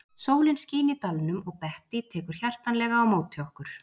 Sólin skín í dalnum og Bettý tekur hjartanlega á móti okkur.